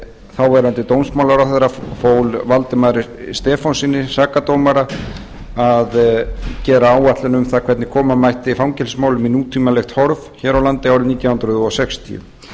þáverandi dómsmálaráðherra fól valdimari stefánssyni sakadómara að gera áætlun um það hvernig koma mætti fangelsismálum í nútímalegt horf hér á landi árið nítján hundruð sextíu